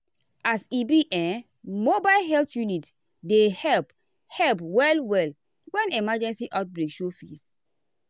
as e be um mobile health unit dey help help well-well when emergency or outbreak show face.